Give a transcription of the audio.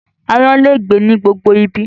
Aáyán lè gbé ní gbogbo ibi